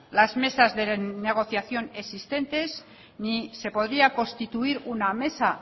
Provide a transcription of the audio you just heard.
las mesas de negociación existentes ni se podría constituir una mesa